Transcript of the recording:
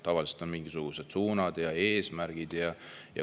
Tavaliselt on mingisugused suunad ja eesmärgid.